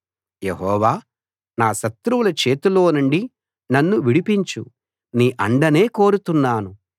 యెహోవా నా శత్రువుల చేతిలోనుండి నన్ను విడిపించు నీ అండనే కోరుతున్నాను